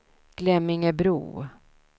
Glemmingebro